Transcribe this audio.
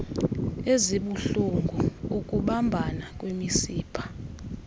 ezibuhlulngu ukubambana kwemisipha